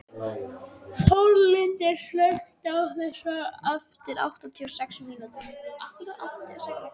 Þórlindur, slökktu á þessu eftir áttatíu og sex mínútur.